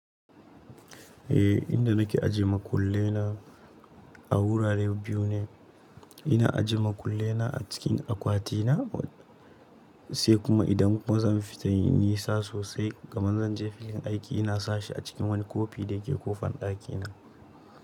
Eh, inda nake aje makullena a wurare biyu ne. Ina aje makullena a cikin akwatina, sai kuma idan kuma zan fita inyi nisa sosai kaman zan je filin aiki, ina sashi a cikin wani kofi da yake ƙofan ɗakina.